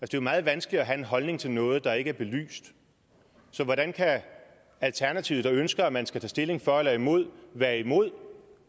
jo meget vanskeligt at have en holdning til noget der ikke er belyst så hvordan kan alternativet der ønsker at man skal tage stilling for eller imod være imod